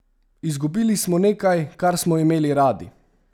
Izgubili smo nekaj, kar smo imeli radi.